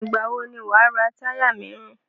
Ìgbà wò ni wà á ra táyà míràn?